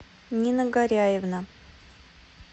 нина горяевна